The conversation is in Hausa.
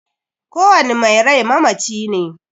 Ko wani mai rai mamaci ne